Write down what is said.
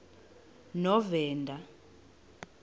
novena